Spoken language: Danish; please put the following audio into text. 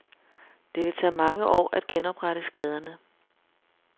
Det vil tage mange år at genoprette skaderne.